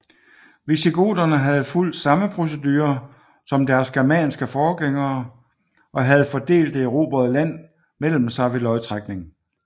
Visigoterne havde fulgt samme procedure som deres germanske forgængere og havde fordelt det erobrede land mellem sig ved lodtrækning